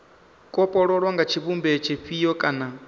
kopololwa nga tshivhumbeo tshifhio kana